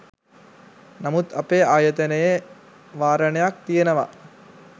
නමුත් අපේ ආයතනයේ වාරණයක් තියෙනවා